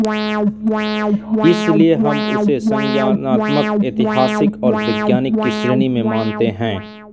इसलिए हम उसे संज्ञानात्मकऐतिहासिक और वैज्ञानिक की श्रेणी में मानते हैं